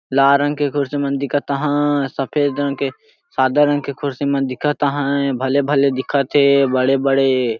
लाल रंग के कुर्सी मन दिखत अहाय सफेद रंग के सादा रंग के कुर्सी मन दिखत आहे भले -भले दिखत अहाय बड़े -बड़े --